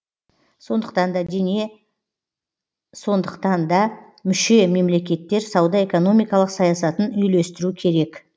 сондықтан да мүше мемлекеттер сауда экономикалық саясатын үйлестіру керек